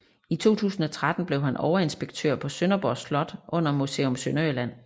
I 2013 blev han overinspektør på Sønderborg Slot under Museum Sønderjylland